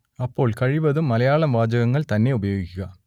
അപ്പോൾ കഴിവതും മലയാളം വാചകങ്ങൾ തന്നെ ഉപയോഗിക്കുക